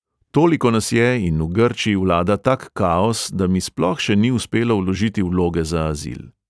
Toliko nas je in v grčiji vlada tak kaos, da mi sploh še ni uspelo vložiti vloge za azil.